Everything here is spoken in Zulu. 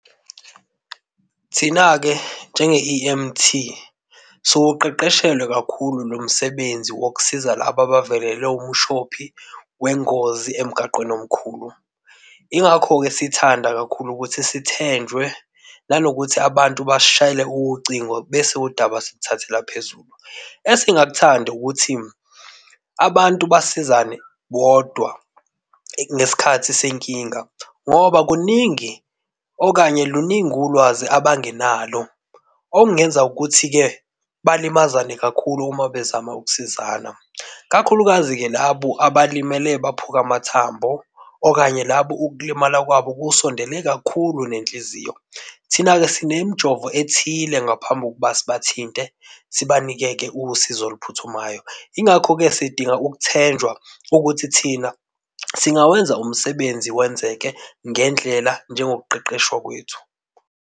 Thina-ke njenge E_M_T siwuqeqeshelwe kakhulu lo msebenzi wokusiza laba abavelelwe umshophi wengozi emgaqweni omkhulu. Yingakho-ke sithanda kakhulu ukuthi sithenjwe nanokuthi abantu basishayele ucingo bese udaba siluthathela phezulu. Esingakuthandi ukuthi abantu basizane bodwa ngesikhathi senkinga ngoba kuningi okanye luningi ulwazi abangenalo okungenza ukuthi-ke balimazane kakhulu uma bezama ukusizana. Kakhulukazi-ke labo abalimele baphuka amathambo okanye labo ukulimala kwabo kusondele kakhulu nenhliziyo. Thina-ke sinemijovo ethile ngaphambi kokuba sibathinte sibanike-ke usizo oluphuthumayo. Yingakho-ke sidinga ukuthenjwa ukuthi thina singawenza umsebenzi wenzeke ngendlela njengokuqeqeshwa kwethu.